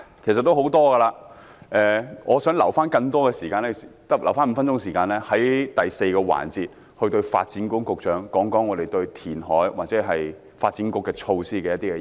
我在本節發言中提出了很多意見，但我想預留5分鐘時間，在第四個辯論環節向發展局局長表達我們對填海或發展局措施的意見。